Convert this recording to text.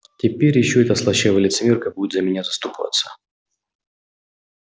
теперь ещё эта слащавая лицемерка будет за меня заступаться